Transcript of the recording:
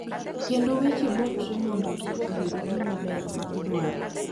kendo weche botre mondo ji oyud gima ber ma gidwaro.